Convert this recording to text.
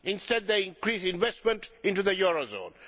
Instead it increased investment into the eurozone.